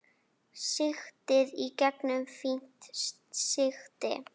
Sigtið í gegnum fínt sigti.